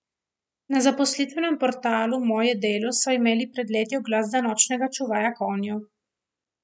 Na zaposlitvenem portalu Moje delo so imeli pred leti oglas za nočnega čuvaja konjev.